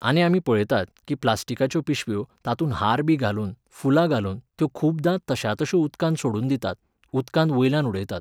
आनी आमी पळयतात कीं प्लास्टिकाच्यो पिशव्यो, तातूंत हारबी घालून, फुलां घालून त्यो खुबदां तश्या तश्यो उदकांत सोडून दितात, उदकांत वयल्यान उडयतात.